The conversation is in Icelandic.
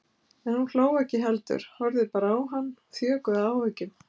En hún hló ekki heldur horfði bara á hann þjökuð af áhyggjum.